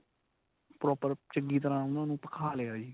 proper ਚੰਗੀ ਤਰ੍ਹਾਂ ਉਨ੍ਹਾਂ ਨੂੰ ਭਖਾ ਲਿਆ ਜੀ.